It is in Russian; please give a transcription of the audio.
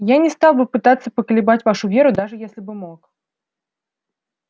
я не стал бы пытаться поколебать вашу веру даже если бы мог